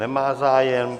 Nemá zájem.